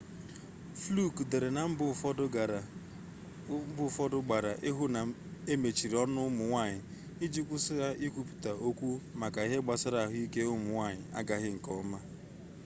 fluke dere na mbo ufodu gbara ihu na emechiri onu umunwanyi iji kwusi ha ikwuputa okwu maka ihe gbasara ahuike umu nwanyi agaghi nkeoma